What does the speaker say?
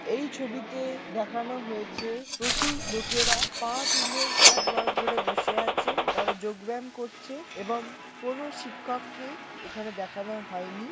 এই ছবিতে দেখানো হয়েছে প্রচুর লোকেরা পা তুলে হাত বার করে বসে আছে। তারা যোগ ব্যায়াম করছে এবং কোনো শিক্ষককে এখানে দেখানো হয়নি।